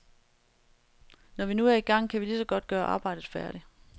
Når vi nu er i gang, kan vi ligeså godt gøre arbejdet færdigt.